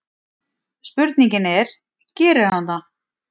Spurningin er: Gerir hann það?